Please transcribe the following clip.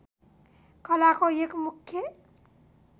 कलाको एक मुख्य